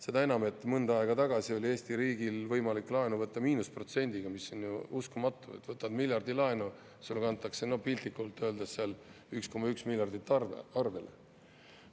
Seda enam, et mõnda aega tagasi oli Eesti riigil võimalik laenu võtta miinusprotsendiga, mis on uskumatu, et võtad miljardi laenu, sulle kantakse piltlikult öeldes seal 1,1 miljardit arvele.